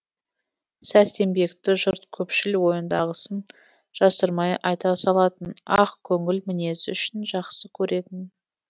сәрсенбекті жұрт көпшіл ойындағысын жасырмай айта салатын ақкөңіл мінезі үшін жақсы көретін